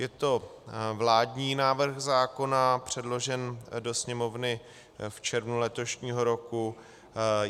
Je to vládní návrh zákona předložený do Sněmovny v červnu letošního roku.